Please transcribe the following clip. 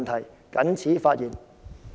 我謹此發言。